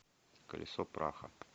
колесо праха